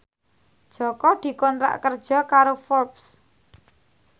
Jaka dikontrak kerja karo Forbes